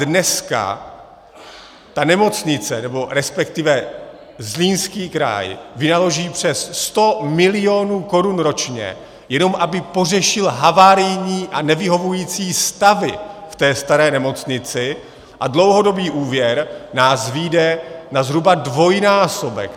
Dneska ta nemocnice, nebo respektive Zlínský kraj vynaloží přes 100 milionů korun ročně, jenom aby pořešil havarijní a nevyhovující stavy v té staré nemocnici, a dlouhodobý úvěr nás vyjde na zhruba dvojnásobek.